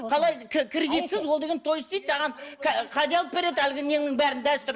қалай кредитсіз ол деген той істейді саған кәде алып береді әлгі неңнің бәрін дәстүр